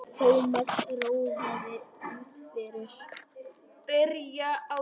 Thomas ráfaði út fyrir.